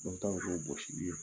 i bɛ tan ni duuru gosi